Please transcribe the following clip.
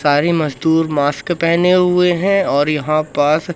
सारे मजदूर मास्क पहने हुए हैं और यहां पास--